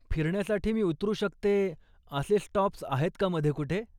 फिरण्यासाठी मी उतरू शकते असे स्टॉप्स आहेत का मधे कुठे?